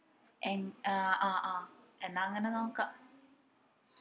ഏർ ആഹ് ആഹ് എന്നാ അങ്ങന നോക്കാ